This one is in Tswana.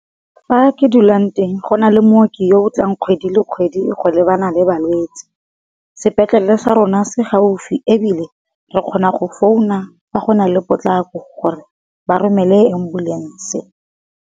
Fa ke dulang teng go na le mooki yo o tlang kgwedi le kgwedi go lebana le balwetse, sepetlele sa rona se gaufi ebile re kgona go founa fa go na le potlako gore ba romele ambulance.